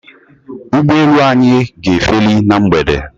Ụgbọelu anyị ga-efeli na mgbede